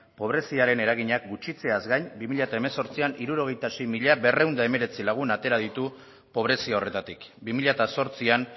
pobreziaren eraginak gutxitzeaz gain bi mila hemezortzian hirurogeita sei mila berrehun eta hemeretzi lagun atera ditu pobrezia horretatik bi mila zortzian